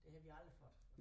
Det har vi aldrig fået